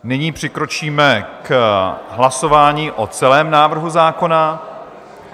Nyní přikročíme k hlasování o celém návrhu zákona.